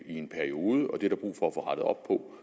i en periode og det er der brug for at få rettet op på